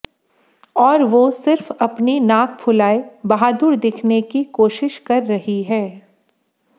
और वो सिर्फ अपनी नाक फुलाए बहादुर दिखने की कोशिश कर रहीं है